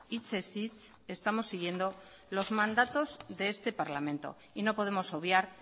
hitzez hitz estamos siguiendo los mandatos de este parlamento y no podemos obviar